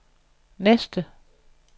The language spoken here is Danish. næste